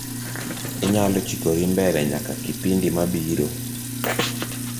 inyalo chikori mbele nyaka kipindi mabiro